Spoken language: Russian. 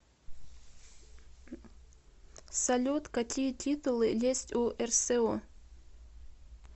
салют какие титулы есть у рсо